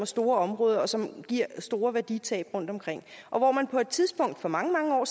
store områder og som giver store værditab rundtomkring på et tidspunkt for mange mange år